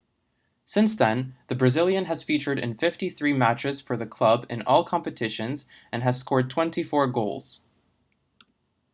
since then the brazilian has featured in 53 matches for the club in all competitions and has scored 24 goals